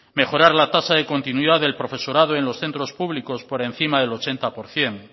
mejorar la tasa de continuidad del profesorado en los centros públicos por encima del ochenta por ciento